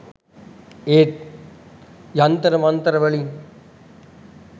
ඒත් යන්තර මන්තර වලින්